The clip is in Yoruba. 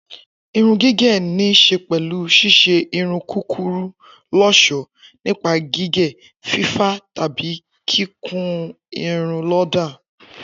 Irun gígẹ̀ ní ṣe pẹlu ṣíṣe irun kúkúrú lọ́ṣọ̀ọ́ nípa gígé, fífá tàbí kíkun irun lọ́dà